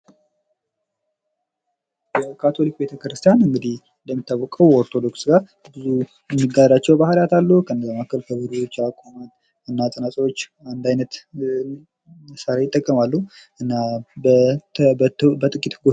የካቶሊክ ቤተክርስቲያን እንግዲህ እንደሚታወቀው ከኦርቶዶክስ ጋር ብዙ የሚጋራቸው ባህሪያቶች አሉ ፤ከነዛ መካከል ከበሮች ያቆማል እና ፅናቶች አንድ አይነት መሳሪያ ይጠቀማሉ።